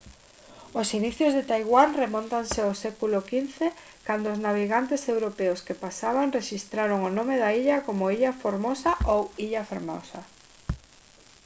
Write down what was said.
os inicios de taiwán remóntanse ao século 15 cando os navegantes europeos que pasaban rexistraron o nome da illa como «ilha formosa» ou illa fermosa